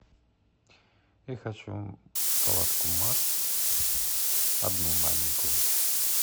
я хочу шоколадку марс одну маленькую